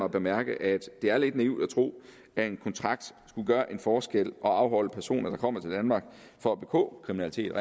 at bemærke at det er lidt naivt at tro at en kontrakt skulle gøre en forskel og afholde personer der kommer til danmark for at begå kriminalitet